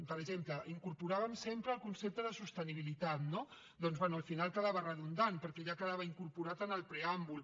per exemple incorporàvem sempre el concepte de sostenibilitat no doncs bé al final quedava redundant perquè ja quedava incorporat en el preàmbul